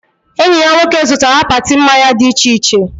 Enyi ya nwoke zụtara akpati mmanya dị iche iche